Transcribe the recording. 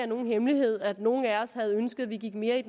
nogen hemmelighed at nogle af os havde ønsket at vi gik mere i